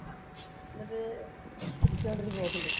എന്നിട്ട് ചിരിച്ചോണ്ട് ഒരു പോക്കുണ്ട്.